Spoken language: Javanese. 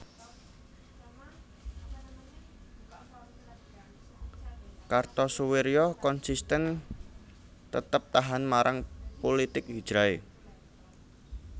Kartosoewirjo konsisten tetep tahan marang pulitik hijrahe